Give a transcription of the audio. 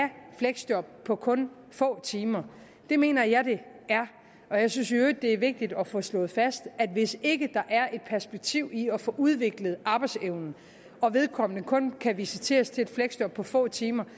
fleksjob på kun få timer det mener jeg at det er og jeg synes i øvrigt at det er vigtigt at få slået fast at hvis ikke der er et perspektiv i at få udviklet arbejdsevnen og vedkommende kun kan visiteres til et fleksjob på få timer